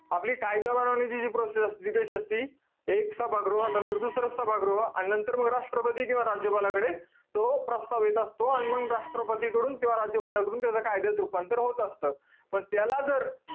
आपली कायदा बनवण्याची जी process असते, ती कशी असते? एक सभागृहानंतर दुसरे सभागृह आणि नंतर म राष्ट्रपती किंवा म राज्यपालाकडे तो प्रस्ताव येत असतो. अन मंग राष्ट्रपतीकडून किंवा राज्यपालाकडून त्याच कायद्यात रुपांतर होत असतं. पण त्याला जर,